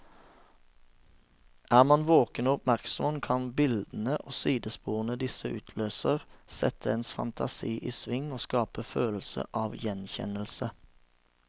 Er man våken og oppmerksom, kan bildene og sidesporene disse utløser, sette ens fantasi i sving og skape følelse av gjenkjennelse.